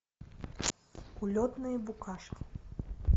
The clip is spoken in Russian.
улетные букашки